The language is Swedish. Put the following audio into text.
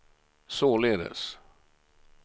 således